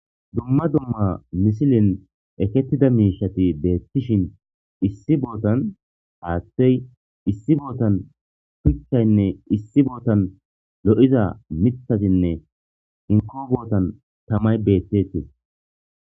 Dumma dumma misilin ekettida miishati deettishin issi bootan haathtey issi bootan shuchchaynne issi bootan lo7iza mitasinne inko bootan tamay beettetes.